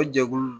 O jɛkulu